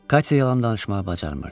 Katya yalan danışmağı bacarmırdı.